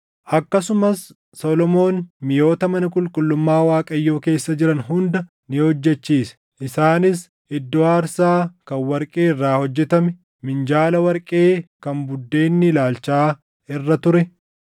Akkasumas Solomoon miʼoota mana qulqullummaa Waaqayyoo keessa jiran hunda ni hojjechiise: Isaanis iddoo aarsaa kan warqee irraa hojjetame; minjaala warqee kan buddeenni ilaalchaa irra ture;